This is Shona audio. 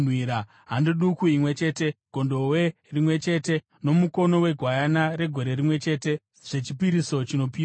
hando duku imwe chete, gondobwe rimwe chete nomukono wegwayana regore rimwe chete, zvechipiriso chinopiswa;